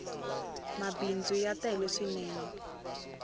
mabindzu ya tele swinene